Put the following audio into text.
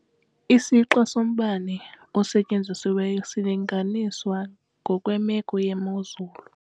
Isixa sombane osetyenzisiweyo silinganiswa ngokwemeko yemozulu.